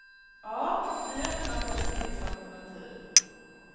Ja, vi är öppna för att det finns alternativ.